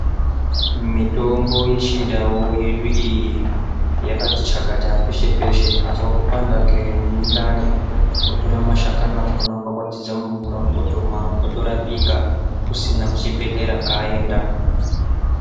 Mitombo yechindau yedu iyi yakati chakata peshe peshe azwa kupanda kwemundani otora mashakani akona okwakwatidza mumvura otomwa otorapika kusina kuchibhehlera kwaenda .